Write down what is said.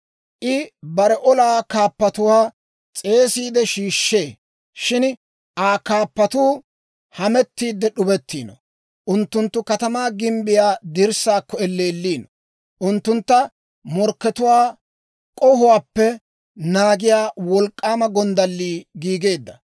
I bare olaa kaappatuwaa s'eesiide shiishshee; shin Aa kaappatuu hamettiidde d'ubettiino. Unttunttu katamaa gimbbiyaa dirssaakko elleelliino; unttuntta morkkatuwaa k'ohuwaappe naagiyaa wolk'k'aama gonddallii giigeedda.